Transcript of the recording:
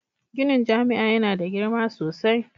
Ginin jami'a yana da girma sosai.